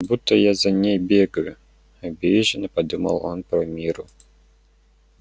будто я за ней бегаю обиженно подумал он про мирру